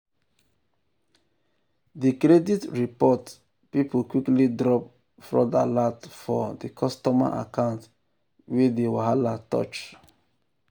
the credit report people quickly drop fraud alert for um the customer account wey the um wahala touch. um